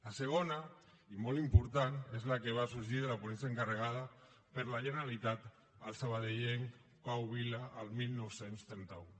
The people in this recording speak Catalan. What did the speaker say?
la segona i molt important és la que va sorgir de la ponència encarregada per la generalitat al sabadellenc pau vila el dinou trenta u